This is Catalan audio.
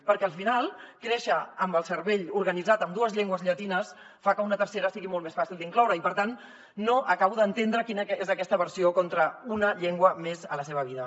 perquè al final créixer amb el cervell organitzat en dues llengües llatines fa que una tercera sigui molt més fàcil d’incloure i per tant no acabo d’entendre quina és aquesta aversió contra una llengua més a la seva vida